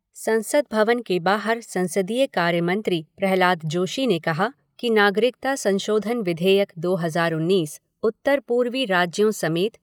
संसद भवन से बाहर संसदीय कार्य मंत्री प्रह्लाद जोशी ने कहा कि नागरिकता संशोधन विधेयक दो हज़ार उन्नीस उत्तर पूर्वी राज्यों समेत